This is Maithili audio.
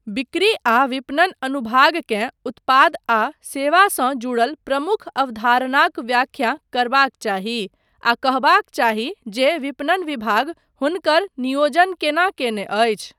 बिक्री आ विपणन अनुभागकेँ उत्पाद आ सेवासँ जुड़ल प्रमुख अवधारणाक व्याख्या करबाक चाही आ कहबाक चाही जे विपणन विभाग हुनकर नियोजन केना कयने अछि।